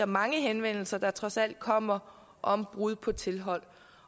mange henvendelser der trods alt kommer om brud på tilhold